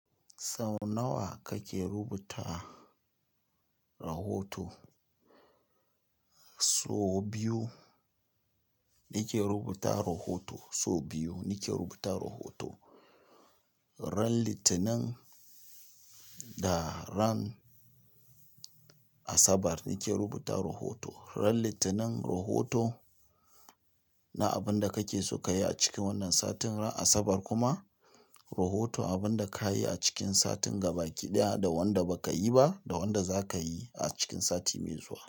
Sau nawa kake rubuta rahoto? So biyu, nike rubuta rahoto so biyu, nike rubuta rahoto. Ran Litinin da ran Asabar nike rubuta rahoto. Ran Litinin rahoto na abin da kake so ka yi a cikin wannan satin, ran Asabar kuma rahoto abin da ka yi a cikin satin gabaki ɗaya da wanda ba ka yi ba da wanda za ka yi a cikin sati mai zuwa.